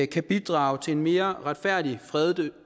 kan bidrage til en mere retfærdig fredelig